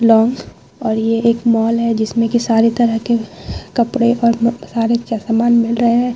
लोग और ये एक मॉल है जिसमें की सारे तरह के कपड़े और सारे समान मिल रहे हैं।